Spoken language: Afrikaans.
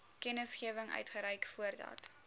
kennisgewing uitreik voordat